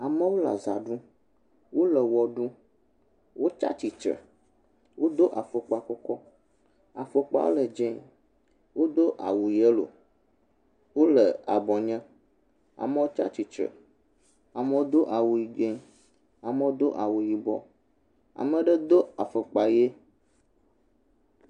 Amewo le azã ɖum, wole wɔ ɖum, wotsatsitre, wodo afɔkpakɔkɔ,a fɔkpa le dzẽ, wodo awu yɛlo, wole abɔ nye. Amewo tsatsitre, amewo do awu dzẽ, amewo do awu yibɔ, ameɖe do afɔkpa ɣe.